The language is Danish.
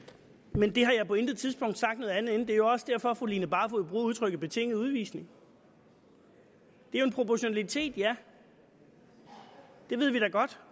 men jeg har på intet tidspunkt sagt noget andet end det er jo også derfor fru line barfod bruger udtrykket betinget udvisning det er en proportionalitet ja det ved vi da godt